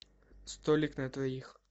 столик на двоих